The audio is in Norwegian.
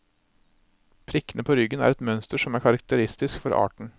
Prikkene på ryggen er et mønster som er karakteristisk for arten.